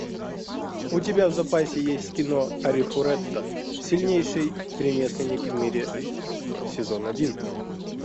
у тебя в запасе есть кино арифурэта сильнейший ремесленник в мире сезон один